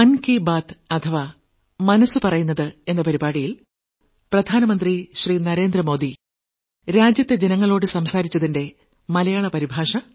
Narendra Modi 2020 July 26ന് രാവിലെ 11 മണിയ്ക്ക് ഭാരത ജനതയോട് ആകാശവാണിയിലൂടെ നടത്തിയ പ്രത്യേക പ്രക്ഷേപണത്തിന്റെ മലയാള പരിഭാഷ